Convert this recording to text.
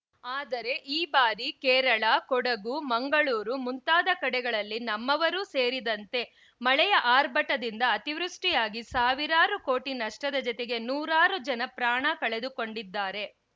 ಆದರೆ ಈ ಬಾರಿ ಕೇರಳ ಕೊಡಗು ಮಂಗಳೂರು ಮುಂತಾದ ಕಡೆಗಳಲ್ಲಿ ನಮ್ಮವರೂ ಸೇರಿದಂತೆ ಮಳೆಯ ಆರ್ಭಟದಿಂದ ಅತಿವೃಷ್ಟಿಯಾಗಿ ಸಾವಿರಾರು ಕೋಟಿ ನಷ್ಟದ ಜೊತೆಗೆ ನೂರಾರು ಜನ ಪ್ರಾಣ ಕಳೆದುಕೊಂಡಿದ್ದಾರೆ